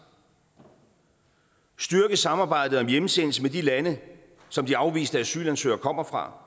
styrke samarbejdet om hjemsendelse med de lande som de afviste asylansøgere kommer fra